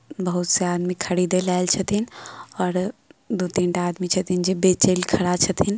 बहुत से आदमी खरीदे ले ऐल छ्थीन और दू - तीनटा आदमी छै जे बेचे ले खड़ा छ्थीन ।